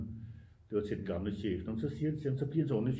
Det var til den gamle chef når man så siger det til ham så bliver han så underligt